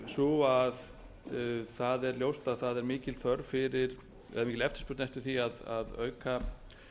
sú að það er ljóst að það er mikil eftirspurn eftir því að auka